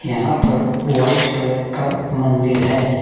यहां पर white colour का मंदिर है।